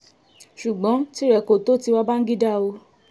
ṣùgbọ́n tìrẹ kò tó ti bàǹgídá o